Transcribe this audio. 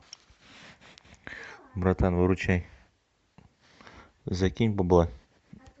братан выручай закинь бабла